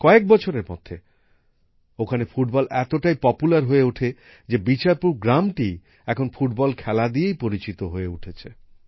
কয়েক বছরের মধ্যে এখানে ফুটবল এতটাই জনপ্রিয় হয়ে ওঠে যে বিচারপুর গ্রামটি এখন ফুটবল খেলা দিয়েই পরিচিত হয়ে উঠেছে